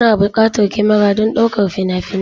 Kuna buƙatar kyamara don ɗaukar fina-finai